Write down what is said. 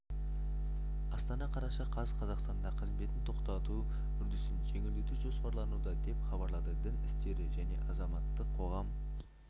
астана қараша қаз қазақстанда қызметін тоқтату үрдісін жеңілдету жоспарлануда деп хабарлады дін істері және азаматтық қоғам